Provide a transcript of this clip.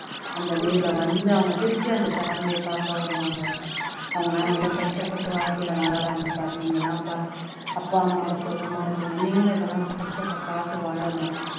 அந்த leave ல வந்து அவங்க திருப்பி அவங்க family அ பாக்க வருவாங்க அவங்க எல்லாம் எவ்வளோ கஷ்டப்பட்டு வாழ்க்கையிலே வாழுறாங்க பார் நீங்க எல்லாம் பாரு அப்பா அம்மா ஓட சுகமா இருக்கீங்க நீங்களும் இதெல்லாம் கஷ்டத்தை பார்த்து வாழணும்